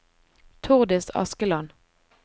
Tordis Askeland